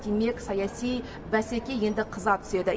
демек саяси бәсеке енді қыза түседі